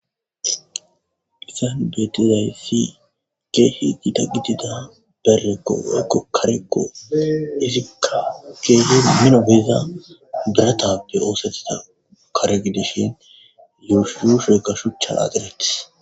Haysan beetizay si keehi giida gidida berrekkoekko karekko izikka keehe mino geiza beratabe oosettiza kare gidishin yuushuduusheyka shucha aadiretis.